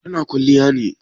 Ta na kwalliya ne?